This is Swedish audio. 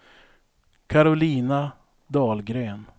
Karolina Dahlgren